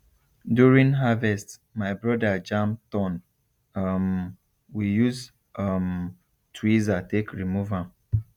during harvest my brother jam thorn um we use um tweezer take remove am